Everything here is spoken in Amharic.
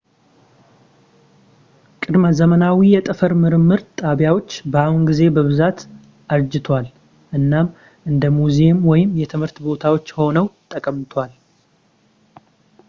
ቅድመ-ዘመናዊ የጠፈር ምርምር ጣቢያዎች በአሁን ጊዜ በብዛት አርጅተዋል እናም እንደ ሙዚየም ወይም የትምህርት ቦታዎች ሆነው ተቀምጠዋል